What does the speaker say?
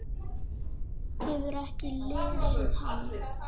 Hefurðu ekki lesið hann?